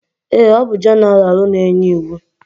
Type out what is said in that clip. Eé, ọ bụ jeneralụ na-enye iwu.